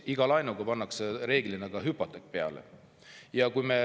Iga laenuga kaasneb reeglina ka hüpoteek.